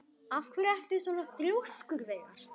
Af hverju ertu svona þrjóskur, Veigar?